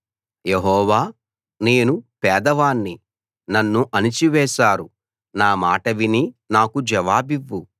యెహోవా నేను పేదవాణ్ణి నన్ను అణిచి వేశారు నా మాట విని నాకు జవాబివ్వు